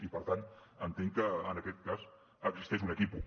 i per tant entenc que en aquest cas existeix un equívoc